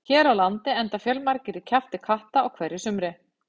Hér á landi enda fjölmargir í kjafti katta á hverju sumri.